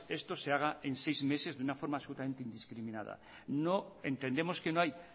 que esto se haga en seis meses de una forma absolutamente indiscriminada entendemos que no hay